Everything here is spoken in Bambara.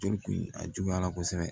Joli kun a juguyara kosɛbɛ